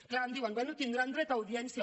és clar em diuen bé tindran dret a audiència